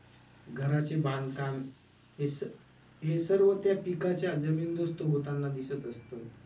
घराचे बांधकाम हे स~ हे सर्व त्या पिकाच्या जमीनदोस्त होताना दिसत असतं.